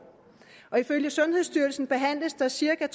ifølge sundhedsstyrelsen behandles der cirka